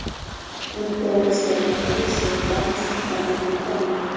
Uni to‘g‘ri iste’mol qilish suyaklar mustahkamligini ta’minlaydi.